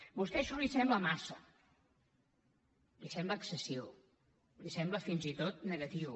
a vostè això li sembla massa li sembla excessiu li sembla fins i tot negatiu